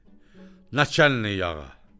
Naçəlnik ağa!